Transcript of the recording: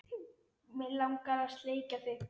Mig langar að sleikja þig.